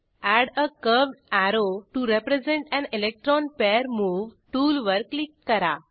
add a curved arrow to represent an electron pair move टूलवर click करा